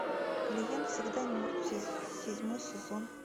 клиент всегда мертв седьмой сезон